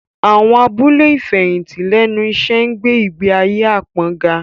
Àwọn abúlé ìfẹ̀yìntì lẹ́nu iṣẹ́ ń gbé ìgbé ayé apon ga